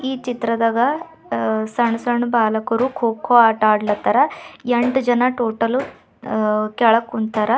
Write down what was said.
ಈ ಚಿತ್ರದಾಗ ಅ ಸಣ್ ಸಣ್ ಬಾಲಕರು ಕೊಕ್ಕೋ ಆಟ ಆಡಲತ್ತಾರ ಎಂಟು ಜನ ಟೋಟಲ್ ಅ ಕೆಳಗ ಕುಂತಾರಾ.